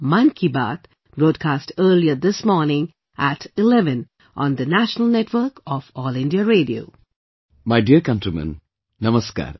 My dear countrymen, Namaskar